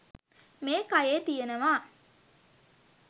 මේ කයේ තියෙනවා